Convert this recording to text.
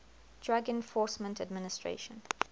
drug enforcement administration